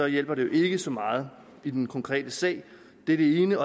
hjælper det ikke så meget i den konkrete sag det er det ene